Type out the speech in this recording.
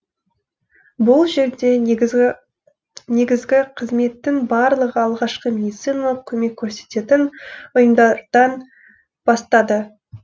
бұл жерде негізгі қызметтің барлығы алғашқы медициналық көмек көрсететін ұйымдардан бастады